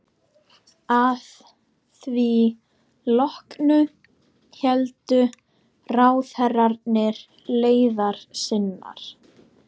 Að því loknu héldu ráðherrarnir leiðar sinnar.